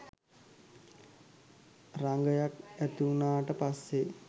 රාගයක් ඇතිවුණාට පස්සේ